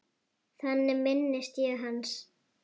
Þannig minnist ég hans.